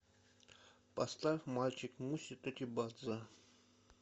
поставь мальчик муси тотибадзе